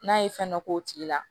N'a ye fɛn dɔ k'o tigi la